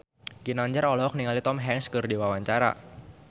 Ginanjar olohok ningali Tom Hanks keur diwawancara